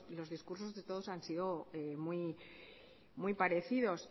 los discursos de todos han sido muy parecidos